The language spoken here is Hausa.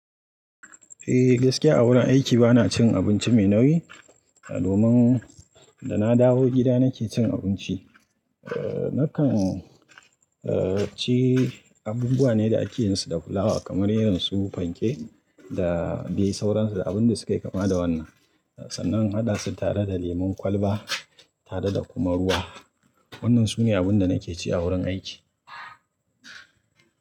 Eh gaskiya a wurin aiki bana cin abinci mai nauyi. Domin da na dawo gida nake cin abinci. Eh nakan ci abubuwan ne da akeyinsu da fulawa kamar irin su panke da dai sauransu abun da sukayi kama da wannan. Sannan in haɗa su tare da lemon kwalba tare da kuma ruwa. Wannan sune abun da nake ci a wurin aiki.